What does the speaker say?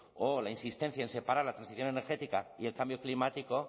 o la insistencia en separar la transición energética y el cambio climático